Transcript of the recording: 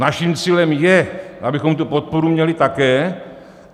Naším cílem je, abychom tu podporu měli také.